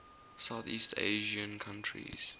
southeast asian countries